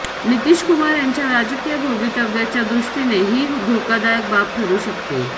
नितीशकुमार यांच्या राजकीय भवितव्याच्या दृष्टीने ही धोकादायक बाब ठरु शकतो